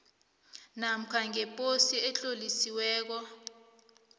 namkha ngeposo etlolisiweko